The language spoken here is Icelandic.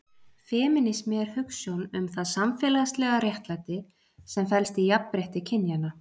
femínismi er hugsjón um það samfélagslega réttlæti sem felst í jafnrétti kynjanna